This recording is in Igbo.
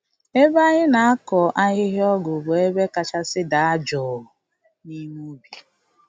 Ebe anyị na-akọ ahịhịa ọgwụ bụ ebe kachasị daa jụụ n’ime ubi.